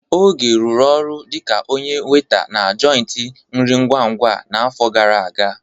Oge rụrụ ọrụ dịka onye weta na joịtị nri ngwa-ngwa a n'afọ gara aga.